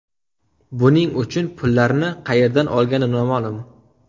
Buning uchun pullarni qayerdan olgani noma’lum.